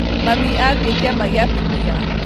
Mami athiĩ kĩama gĩa atumia